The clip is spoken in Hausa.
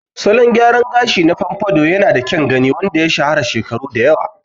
Salon gyaran gashi na pompadour yanada kyan gani wanda ya shahara shekaru da yawa.